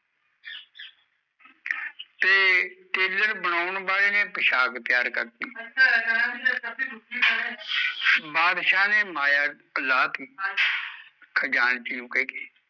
ਤੇ ਬਣਾਉਣ ਵਾਲੇ ਨੀ ਪੁਸ਼ਾਕ ਤਿਆਰ ਕਰਤੀ ਬਾਦਸ਼ਾਹ ਨੇ ਮਾਇਆ ਲਾਤੀ ਖਜਾਨਜੀ ਨੂੰ ਕਹਿ ਕੇ